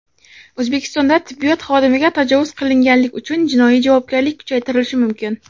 O‘zbekistonda tibbiyot xodimiga tajovuz qilganlik uchun jinoiy javobgarlik kuchaytirilishi mumkin.